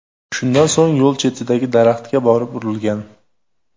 Shundan so‘ng yo‘l chetidagi daraxtga borib urilgan.